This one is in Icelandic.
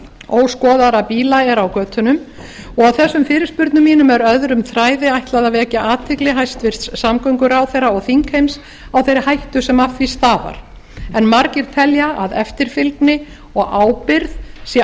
óskoðaðra bíla er á götunum og þessum fyrirspurnum mínum er öðrum þræði ætlað að vekja athygli hæstvirtur samgönguráðherra og þingheims á þeirri hættu sem af því stafar en margir telja að eftirfylgni og ábyrgð sé